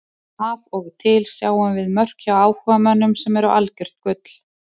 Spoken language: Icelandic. Af og til sjáum við mörk hjá áhugamönnum sem eru algjört gull.